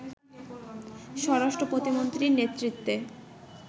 স্বরাষ্ট্র প্রতিমন্ত্রীর নেতৃত্বে